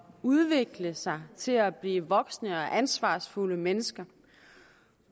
udvikle sig til at blive voksne og ansvarsfulde mennesker